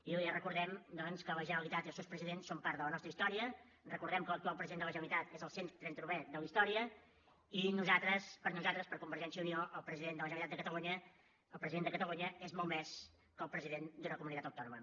i li recordem doncs que la generalitat i els seus presidents són part de la nostra història recordem que l’actual president de la generalitat és el 139è de la història i per nosaltres per convergència i unió el president de la generalitat de catalunya el president de catalunya és molt més que el president d’una comunitat autònoma